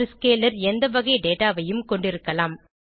ஒரு ஸ்கேலர் எந்த வகை டேட்டா ஐயும் கொண்டிருக்கலாம்